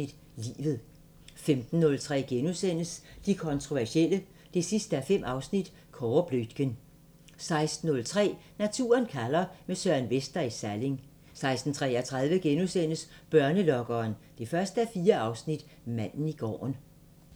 – Livet * 15:03: De kontroversielle 5:5 – Kåre Bluitgen * 16:03: Naturen kalder – med Søren Vester i Salling 16:33: Børnelokkeren 1:4 – Manden i gården *